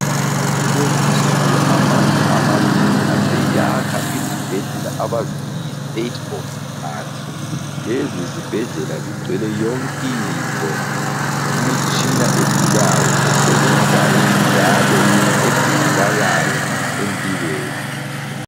Kulezinsuku amazwe amanengi aseyakha izibhedlela abazithi yiState of the art. Lezi zibhedlela zigcwele yonkinto, imitshina edulayo ,esebenzayo njalo edingakalayo empilweni.